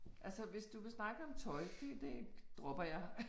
Altså hvis du vil snakke om tøj det det dropper jeg